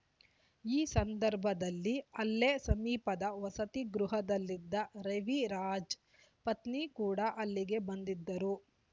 ಈ ಸಂದರ್ಭದಲ್ಲಿ ಅಲ್ಲೇ ಸಮೀಪದ ವಸತಿಗೃಹದಲ್ಲಿದ್ದ ರವಿರಾಜ್ ಪತ್ನಿ ಕೂಡ ಅಲ್ಲಿಗೆ ಬಂದಿದ್ದರು